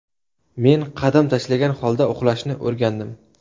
Men qadam tashlagan holda uxlashni o‘rgandim.